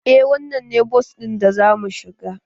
Eh wannan ne bas ɗin da za mu shiga